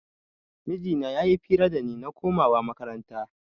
Mijina ya yi fira da ni na komawa makaranta